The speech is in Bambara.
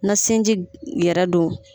Na sinji yɛrɛ do